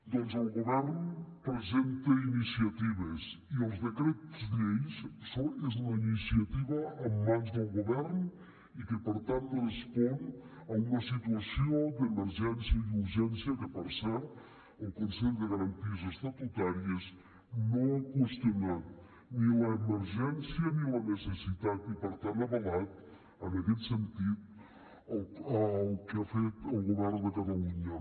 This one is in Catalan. doncs el govern presenta iniciatives i els decrets lleis és una iniciativa en mans del govern i que per tant respon a una situació d’emergència i urgència que per cert el consell de garanties estatutàries no ha qüestionat ni l’emergència ni la necessitat i per tant ha avalat en aquest sentit el que ha fet el govern de catalunya